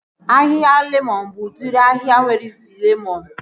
Ahịhịa lemọn bụ udiri ahịhịa nwere isi lemọn